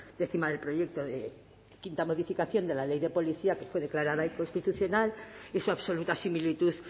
décima del proyecto de quinta modificación de la ley de policía que fue declarada inconstitucional y su absoluta similitud